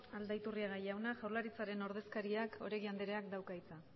aldaiturriaga jauna jaurlaritzaren ordezkariak oregik andereak dauka hitza